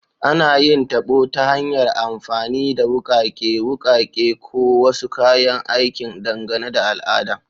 Ana yin tabo ta hanyar amfani da wukake, wukake, ko wasu kayan aikin, dangane da al'ada.